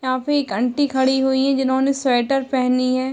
यहाँ पे एक आंटी खड़ी हुई है जिन्होंने स्वेटर पहनी है।